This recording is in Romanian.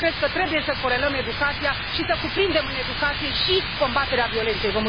Cred că trebuie să corelăm educația și să cuprindem în educație și combaterea violenței.